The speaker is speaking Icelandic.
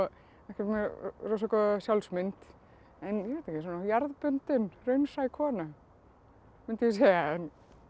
ekkert með rosa góða sjálfsmynd en jarðbundin raunsæ kona mundi ég segja